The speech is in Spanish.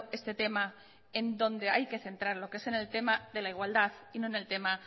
este tema en donde hay que centrarlo que es en el tema de la igualdad y no en el tema